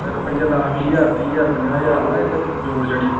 ਤੇ ਰੁਪਈਆ ਦਸ ਵੀਹ ਹਜ਼ਾਰ ਤੀਹ ਹਜ਼ਾਰ ਪੰਜਾਹ ਹਜ਼ਾਰ ਨਾ ਇੱਕ ਜੋੜ ਛੱਡੀ।